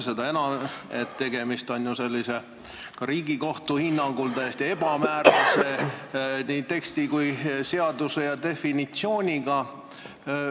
Seda enam, et tegemist on ju ka Riigikohtu hinnangul täiesti ebamäärase teksti, seaduse ja definitsiooniga.